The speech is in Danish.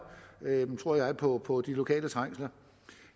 tror jeg på på de lokale trængsler